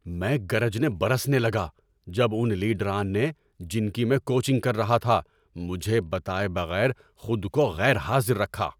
میں گرجنے برسنے لگا جب اُن لیڈران نے، جن کی میں کوچنگ کر رہا تھا، مجھے بتائے بغیر خود کو غیر حاضر رکھا۔